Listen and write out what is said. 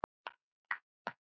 Einar Má.